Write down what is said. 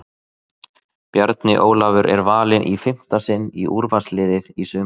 Bjarni Ólafur er valinn í fimmta sinn í úrvalsliðið í sumar!